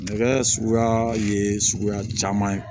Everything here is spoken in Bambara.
Nɛgɛ suguya ye suguya caman ye